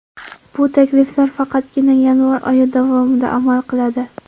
Bu takliflar faqatgina yanvar oyi davomida amal qiladi.